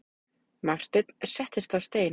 Marteinn settist á stein.